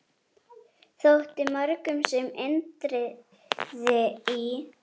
Þótti mörgum sem Indriði í